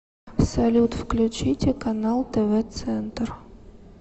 салют включите канал тв центр